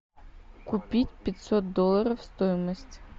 купить пятьсот долларов стоимость